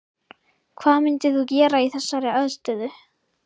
Hvað myndir þú gera í þessari aðstöðu?